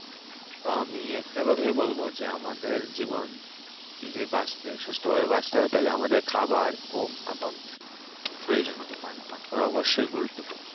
আমি একটাই কথা বলব যে আমাদের জীবন যদি বাঁচতে সুস্থভাবে বাঁচতে জানতে হবে আমাদের খাবার ঘুম এবং প্রয়োজন মতন পানি পান করা অবশ্যই গুরুত্বপূর্ণ